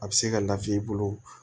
A bɛ se ka lafiya i bolo